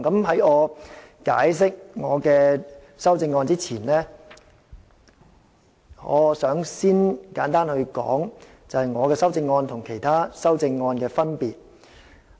在解釋我的修正案之前，我想先簡單說說我的修正案與其他修正案的分別。